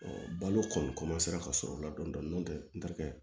balo kɔni ka sɔrɔ o la dɔɔnin dɔɔnin n'o tɛ n terikɛ